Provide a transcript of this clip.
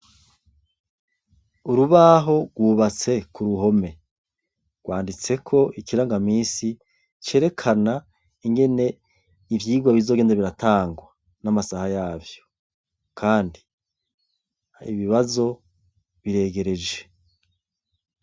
Urubaho gwubatse k'uruhome gwanditseko ikirangamisi cerekana ingene ivyigwa bizogenda biratangwa n'amasaha yavyo kandi ibibazo biregereje